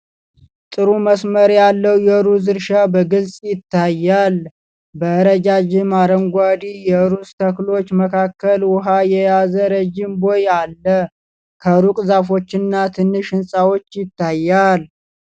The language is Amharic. ጥሩ መስመር ያለው የሩዝ እርሻ በግልጽ ይታያል። በረጃጅም አረንጓዴ የሩዝ ተክሎች መካከል ውኃ የያዘ ረዥም ቦይ አለ። ከሩቅ ዛፎችና ትንሽ ሕንፃ ይታያል።